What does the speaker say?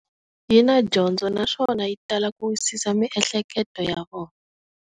Yina dyondzo naswona yi tala ku wisisa miehleketo ya vona.